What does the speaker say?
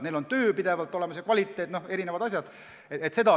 Seal on töö pidevalt olemas, on erinevad asjad ja tagatud on kvaliteet.